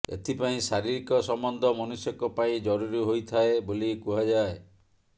ଏଥିପାଇଁ ଶାରୀରିକ ସମ୍ବନ୍ଧ ମନୁଷ୍ୟଙ୍କ ପାଇ ଜରୁରୀ ହୋଇଥାଏ ବୋଲି କୁହାଯାଏ